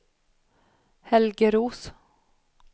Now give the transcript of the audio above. Helge Roos